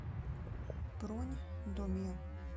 бронь домия